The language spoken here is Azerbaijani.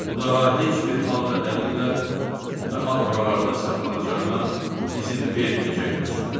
O daha heç bir hal və dəlillə daha buralarda saxlanılacağına izin verməyəcəyini açıqladı.